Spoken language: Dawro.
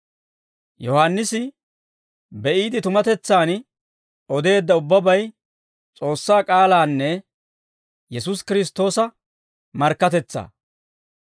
Yohaannisi be"iide tumatetsaan odeedda ubbabay, S'oossaa k'aalaanne Yesuusi Kiristtoosa markkatetsaa.